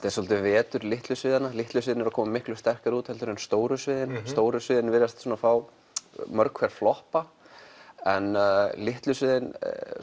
er svolítið um vetur litlu sviðanna litlu sviðin eru að koma miklu sterkara út en stóru sviðin stóru sviðin virðast fá mörg hver floppa en litlu sviðin